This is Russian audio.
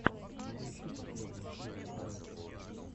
поищи последнюю серию анютки